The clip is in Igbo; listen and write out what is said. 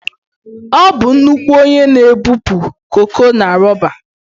Ọ bụ nnukwu onye na-ebupụ koko na roba